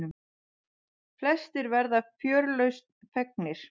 Flestir verða fjörlausn fegnir.